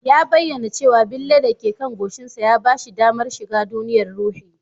Ya bayyana cewa bille da ke kan goshinsa ya ba shi damar shiga duniyar ruhi